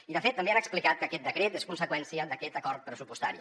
i de fet també han explicat que aquest decret és conseqüència d’aquest acord pressupostari